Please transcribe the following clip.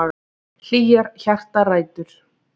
Hlýjar hjartarætur.